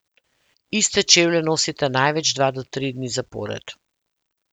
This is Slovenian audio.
Iste čevlje nosite največ dva do tri dni zapored.